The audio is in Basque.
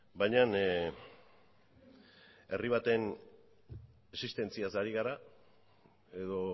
baina herri baten existentziaz ari gara edo